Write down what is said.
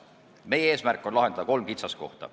Meie eesmärk on kaotada kolm kitsaskohta.